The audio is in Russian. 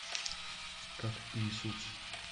как иисус